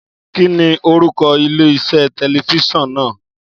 Kíni orúkọ ilé-iṣẹ́ tẹlifíṣọ̀n náà?